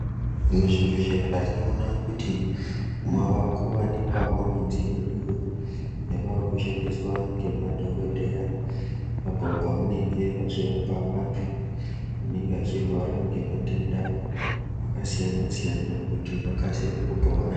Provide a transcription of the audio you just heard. Muzvibhedhlera tinoona kuti mwavakuwanikwawo midziyo iyo yavakushandiswa ngemadhokodheya apo pavanenge vachirapa vantu vanenge vachirwara ngematenda akasiyana siyana kuti vakasire kupona.